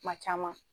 Kuma caman